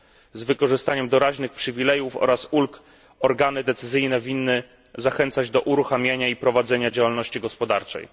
Przy wykorzystaniu doraźnych przywilejów oraz ulg organy decyzyjne winny zachęcać do uruchamiania i prowadzenia działalności gospodarczej.